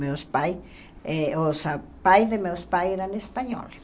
Meus pai, eh os pai de meus pai eram espanhol.